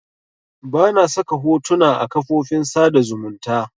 Bana saka hotona a kafofin sada zumunta